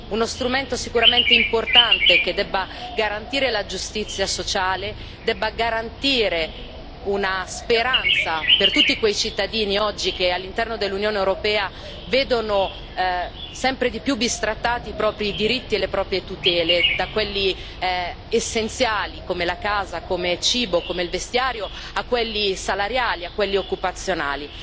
Uno strumento sicuramente importante, che deve garantire la giustizia sociale, deve garantire una speranza per tutti quei cittadini che oggi, all'interno dell'Unione europea, vedono sempre più bistrattati i propri diritti e le proprie tutele, da quelli essenziali, come la casa, come il cibo, come il vestiario, a quelli salariali, a quelli occupazionali.